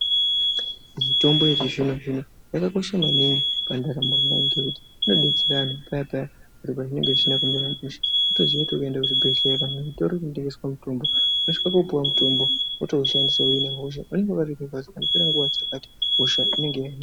Mitombo yechizvino zvino yakakosha maningi pandaramo yeantu ngekuti inodetsera antu paya paya zviro zvisina kumira mushe. Unotoziya kuti ukaenda kuchibhedhlera kana kuzvitoro zvinotengeswa mitombo unosvikoopuwa mutombo wotoushandisa kuhina hosha. Pasina nguwa yakati hosha inenge yapera.